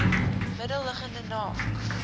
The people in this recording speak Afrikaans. middel liggende naak